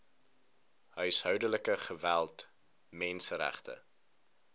huishoudelike geweld menseregte